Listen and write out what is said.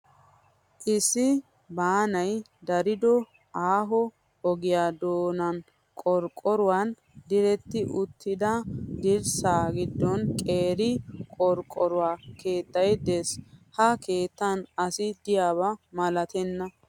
Issi baanayi darido aaho ogiyaa doonan qorqqoruwan diratti uttida dirssaa giddon qeeri qorqqoro keettayi des. Ha keettan asi diyaaba malatenna.